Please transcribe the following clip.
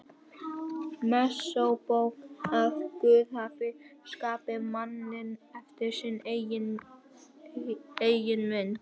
Mósebók að Guð hafi skapað manninn eftir sinni eigin mynd.